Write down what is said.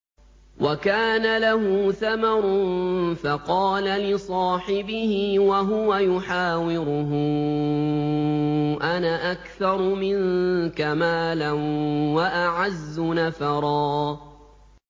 وَكَانَ لَهُ ثَمَرٌ فَقَالَ لِصَاحِبِهِ وَهُوَ يُحَاوِرُهُ أَنَا أَكْثَرُ مِنكَ مَالًا وَأَعَزُّ نَفَرًا